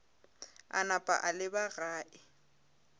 a napa a leba gae